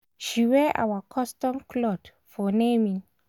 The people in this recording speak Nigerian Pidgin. she wear our custom cloth for naming